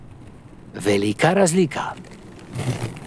Velika razlika.